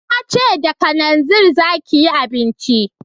Na ce da kananzir za ki yi abinci